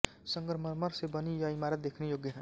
संगमरमर से बनी यह इमारत देखने योग्य है